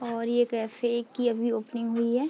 और ये कैफे की अभी ओपनिंग हुई है।